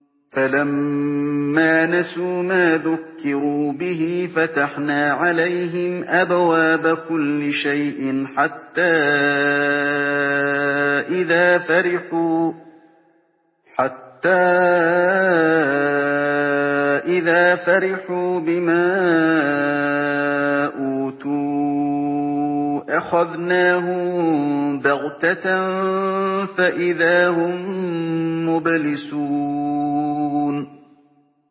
فَلَمَّا نَسُوا مَا ذُكِّرُوا بِهِ فَتَحْنَا عَلَيْهِمْ أَبْوَابَ كُلِّ شَيْءٍ حَتَّىٰ إِذَا فَرِحُوا بِمَا أُوتُوا أَخَذْنَاهُم بَغْتَةً فَإِذَا هُم مُّبْلِسُونَ